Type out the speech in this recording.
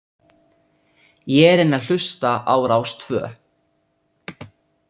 Ég er enn að hlusta á Rás tvö.